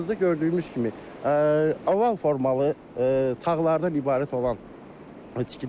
arxamızda gördüyümüz kimi oval formalı tağlardan ibarət olan tikilidir.